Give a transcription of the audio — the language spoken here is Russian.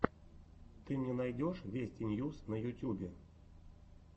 ты мне найдешь вести ньюс на ютьюбе